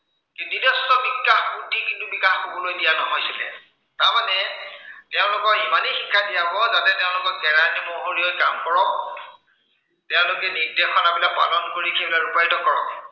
নিজস্ব বিকাশ, বুদ্ধি কিন্তু বিকাশ হবলৈ দিয়া নহৈছিলে। তাৰমানে তেওঁলোকক ইমানেই শিক্ষা দিয়া হব যাতে তেওঁলোকে কেৰানী, মহৰী ক তেওঁলোকে নিৰ্দেশনাবিলাক পালন কৰি সেইবিলাক ৰূপায়িত কৰক